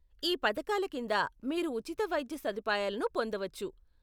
ఈ పథకాల కింద మీరు ఉచిత వైద్య సదుపాయాలను పొందవచ్చు.